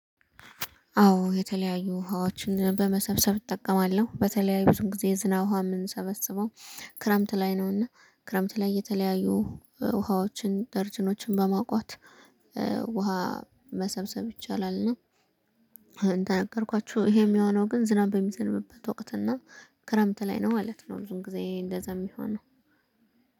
አዎ የተለያዩ ውሃዎችን በመሰብሰብ እጠቀማለሁ በተለይ ብዙ ጊዜ የዝናብ ውሃ የምንሰበስበው ክረምት ላይ ነውና ክረምት ላይ እየተለያዩ ውሃዎችን ደርጅኖችን በማቋት ውሃ መሰብሰብ ይቻላልና። እንደነገርኳችሁ ይሄ የሚሆነው ግን ዝናብ በሚዘንብበት ወቅት እና ክረምት ላይ ነው ማለት ነው። ብዙን ጊዜ እንደዛ የሚሆነው።